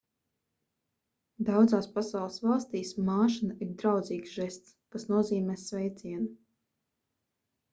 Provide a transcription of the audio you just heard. daudzās pasaules valstīs māšana ir draudzīgs žests kas nozīmē sveicienu